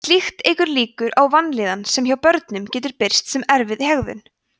slíkt eykur líkur á vanlíðan sem hjá börnum getur birst sem erfið hegðun